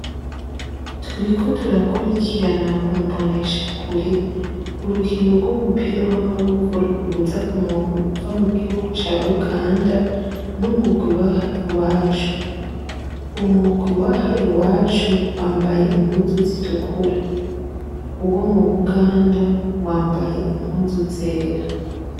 Turiko turakurikirana kumboneshakure urukino rw'umupira w'amaboko ruhuza umugwi uva mugihugu ca Uganda n'umugwi waha iwacu. Umugwi waha iwacu wambaye impuzu zitukura. Uwo mubuganda wambaye impuzu zera.